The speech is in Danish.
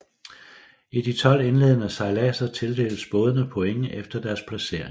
I de 12 indledende sejladser tildeles bådene points efter deres placering